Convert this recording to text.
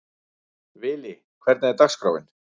Vili, hvernig er dagskráin?